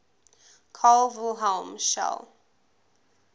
carl wilhelm scheele